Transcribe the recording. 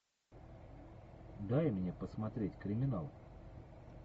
дай мне посмотреть криминал